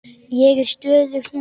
Ég er stöðug núna.